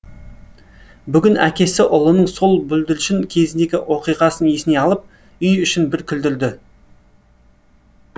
бүгін әкесі ұлының сол бүлдіршін кезіндегі оқиғасын есіне алып үй ішін бір күлдірді